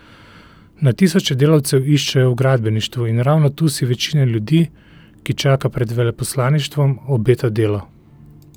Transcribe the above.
Na tisoče delavcev iščejo v gradbeništvu in ravno tu si večina ljudi, ki čaka pred veleposlaništvom, obeta delo.